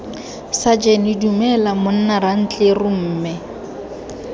sajene dumela monna rantleru mme